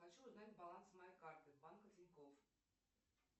хочу узнать баланс моей карты банка тинькофф